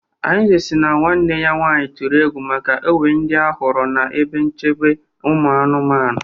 Arinze si na nwanne ya nwanyị tụrụ egwu maka enwe ndị ha hụrụ n'ebe nchekwa ụmụ anụmanụ